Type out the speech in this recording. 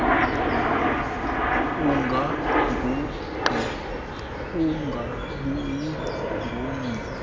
ungagungqi ungabuyi ngamva